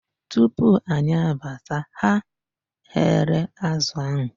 Tupu anyị abata, ha ghere azụ ahụ.